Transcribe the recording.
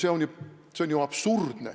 See on ju absurdne!